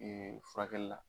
furakɛlila.